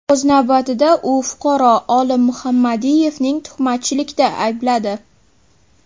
O‘z navbatida, u fuqaro Olim Muhammadiyevni tuhmatchilikda aybladi.